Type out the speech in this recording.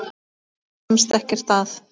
Nei, hún kemst ekkert að.